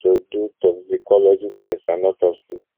to do toxicology tests and autopsy